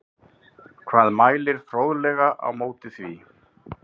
Hvað mælir fræðilega á móti því?